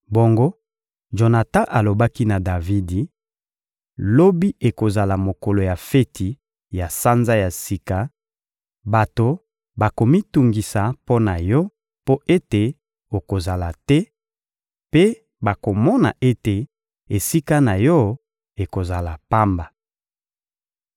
Bongo Jonatan alobaki na Davidi: — Lobi ekozala mokolo ya feti ya Sanza ya Sika; bato bakomitungisa mpo na yo mpo ete okozala te, mpe bakomona ete esika na yo ekozala pamba.